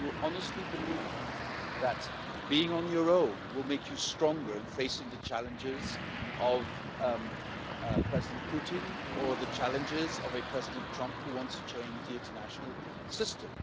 Do you honestly believe that being on your own will make you stronger in facing the challenges of President Putin or the challenges of a President Trump, who wants to change the international system?